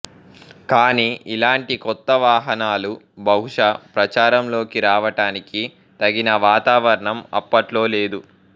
కానీ ఇలాంటి కొత్త వాహనాలు బహుశ ప్రచారంలోకి రావటానికి తగిన వాతావరణం అప్పట్లో లేదు